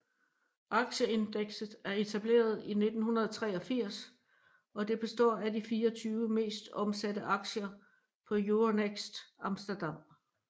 Aktieindekset er etableret i 1983 og det består af de 24 mest omsatte aktier på Euronext Amsterdam